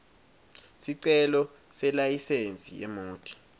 sicelo selayisensi yemoti